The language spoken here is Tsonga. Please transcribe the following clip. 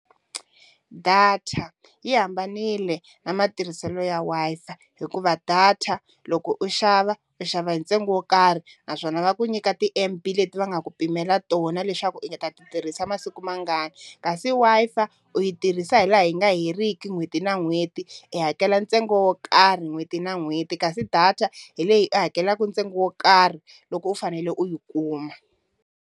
Data yi hambanile na matirhiselo ya Wi-Fi hikuva data loko u xava u xava hi ntsengo wo karhi naswona va ku nyika ti-M_B leti va nga ku pimela tona leswaku u ta ti tirhisa masiku mangani kasi Wi-Fi u yi tirhisa hi laha yi nga heriki n'hweti na n'hweti, i hakela ntsengo wo karhi n'hweti na n'hweti kasi data hi leyi u hakelaka ntsengo wo karhi loko u fanele u yi kuma.